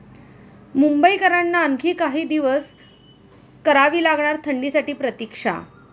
मुंबईकरांना आणखी काही दिवस करावी लागणार थंडीसाठी प्रतिक्षा